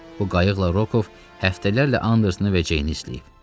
Bu qayıqla Rokov həftələrlə Andersini və Ceyni izləyib.